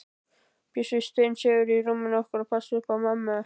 Bjössi steinsefur í rúminu okkar og passar upp á mömmu.